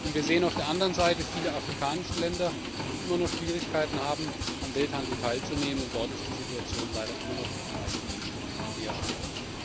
Wir sehen auf der anderen Seite viele afrikanische Länder, die immer noch Schwierigkeiten haben, am Welthandel teilzunehmen, und dort ist die Situation leider immer noch für die meisten Menschen eher schlecht.